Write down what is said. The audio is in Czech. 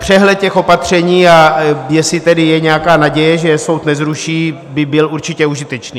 Přehled těch opatření, a jestli tedy je nějaká naděje, že je soud nezruší, by byl určitě užitečný.